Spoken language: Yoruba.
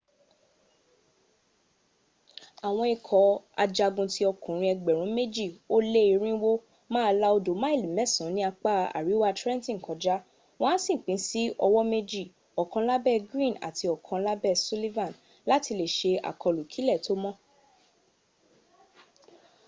àwọn ikọ̀ ajagun tí okùnrin ẹgbẹ̀rún méjì ó lé irinwó máa la odò máìlì mẹ́san ní apá àríwá trenton kọjá wọ́n á sì pín sí ọ̀wọ̣́ méjì; ọ̀kan lábę greene àti ọ̀kan láẹ́ sullivan láti lè se àkọlù kílẹ̀ tó mọ́